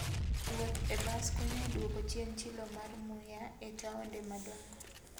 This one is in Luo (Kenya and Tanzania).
Wuoth e bas konyo e duoko chien chilo mar muya e taonde madongo.